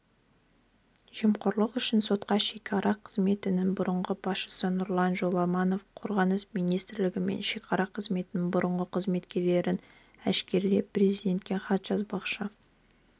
жемқорлық үшін сотталған шекара қызметінің бұрынғы басшысы нұрлан жоламанов қорғаныс министрлігі мен шекара қызметінің бұрынғы қызметкерлерін әшкерелеп президентке хат жазбақшы